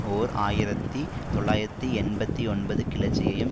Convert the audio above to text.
ஓர் ஆயிரத்தி தொள்ளாயிரத்து எண்பத்தி ஒன்பது கிளர்ச்சியையும்